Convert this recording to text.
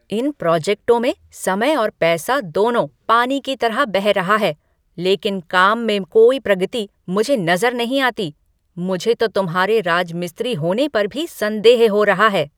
इन प्रोजेक्टों में समय और पैसा दोनों पानी की तरह बह रहा है लेकिन काम में कोई प्रगति मुझे नज़र नहीं आती, मुझे तो तुम्हारे राजमिस्त्री होने पर भी संदेह हो रहा है।